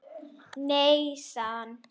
Nei sagði hann.